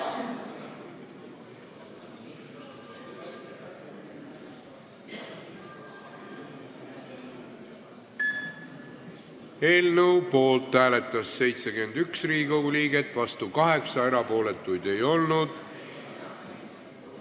Hääletustulemused Eelnõu poolt hääletas 71 Riigikogu liiget, vastu 8, erapooletuid ei olnud.